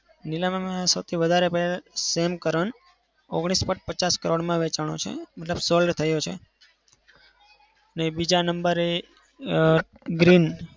નીલામીમાં સૌથી વધારે player sam curren ઓગણીસ point પચાસ કરોડમાં વેચાણો છે. મતલબ sold થયો છે. અને બીજા number એ અમ